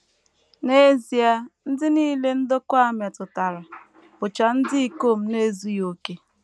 N’ezie, ndị nile ndokwa a metụtara bụcha ndị ikom na - ezughị okè.